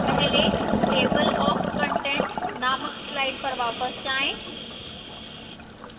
पहले table of contents नामक slide पर वापस जाएं